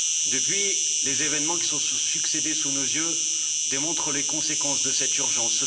Depuis, les événements qui se sont succédés sous nos yeux démontrent les conséquences de cette urgence.